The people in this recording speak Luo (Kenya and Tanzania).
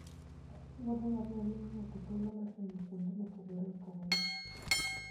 Wuoth ngamia miyo ng'ato thuolo mar neno kuonde mopogore opogore.